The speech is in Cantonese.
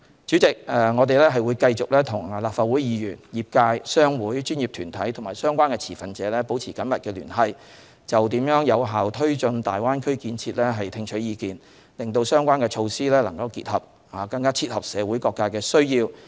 主席，我們會繼續與立法會議員、業界、商會、專業團體和相關持份者保持緊密聯繫，就如何有效推進大灣區建設聽取意見，使相關措施能更切合社會各界的需要。